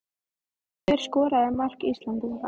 Hver skoraði mark Íslendinga?